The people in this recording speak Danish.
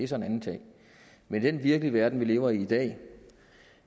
så en anden ting men i den virkelighed vi lever i i dag